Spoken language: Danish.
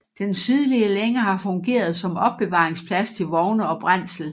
Den sydlige længe har fungeret som opbevaringsplads til vogne og brændsel